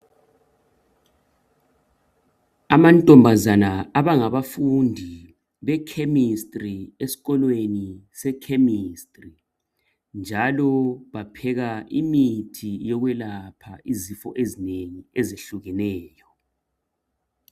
Amantombazane abangabafundi be"chemistry" eskolweni se'chemistry" njalo bapheka imithi yokwelapha izifo ezinengi ezehlukeneyo.